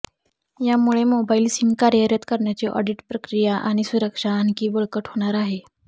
यामुळे mobile SIM कार्यरत करण्याची ऑडिट प्रक्रिया आणि सुरक्षा आणखी बळकट होणार आहे